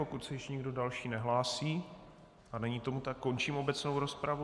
Pokud se ještě někdo další nehlásí, a není tomu tak, končím obecnou rozpravu.